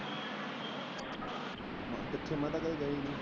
ਕਿਥੇ ਮੈ ਤਾ ਕਦੇ ਗਿਆ ਏ ਨਹੀਂ?